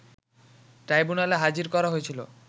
ট্রাইবুনালে হাজির করা হয়েছিল